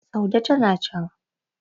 saude tana can